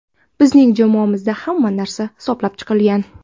Bizning jamoamizda hamma narsa hisoblab chiqilgan.